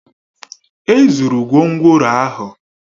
E zụrụ gwongworo ahụ